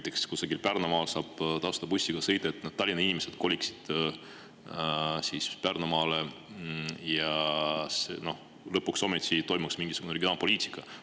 Näiteks saaks kusagil Pärnumaal tasuta bussiga sõita, et Tallinna inimesed koliksid Pärnumaale ja lõpuks ometi toimiks mingisugune regionaalpoliitika.